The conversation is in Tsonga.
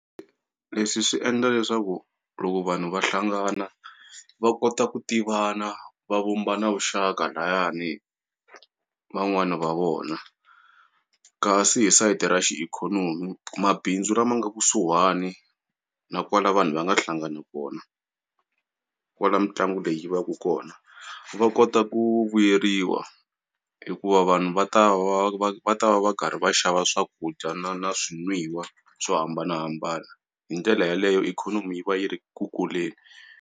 Leswi swi endla leswaku loko vanhu va hlangana va kota ku tivana va vumba na vuxaka layani van'wani va vona kasi hi sayiti ra xi ikhonomi mabindzu la ma nga kusuhani na kwala vanhu va nga hlangana kona kwala mitlangu leyi yi va ku kona va kota ku vuyeriwa hikuva vanhu va ta va va va ta va va karhi va xava swakudya na na swirinwiwa swo hambanahambana hi ndlela yaleyo ikhonomi yi va yi ri ku kuleni.